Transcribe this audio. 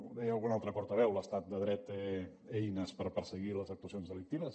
ho deia algun altre portaveu l’estat de dret té eines per perseguir les actuacions delictives